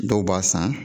Dɔw b'a san